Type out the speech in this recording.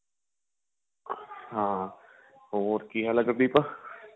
ਹਾਂ ਹੋਰਕੀ ਹਾਲ ਏ ਸ਼ੁਭਦੀਪ